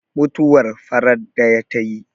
mutuwar farat daya ta yi!